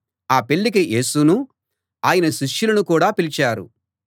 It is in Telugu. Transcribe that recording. ఆ పెళ్ళికి యేసునూ ఆయన శిష్యులనూ కూడా పిలిచారు